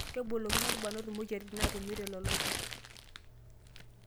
Kebolokino lbrnot moyiaritin naatumi te loloitore